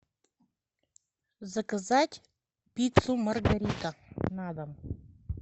заказать пиццу маргарита на дом